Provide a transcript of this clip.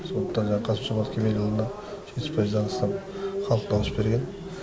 сондықтан жа қасым жомарт кемелұлына жетпіс пайыздан астам халық дауыс берген